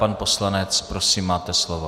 Pan poslanec, prosím, máte slovo.